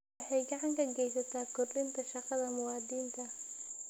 Waxay gacan ka geysataa kordhinta shaqada muwaadiniinta.